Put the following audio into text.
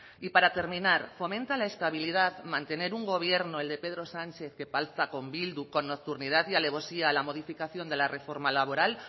y para terminar fomenta la estabilidad mantener un gobierno el de pedro sánchez que pacta con bildu con nocturnidad y alevosía la modificación de la reforma laboral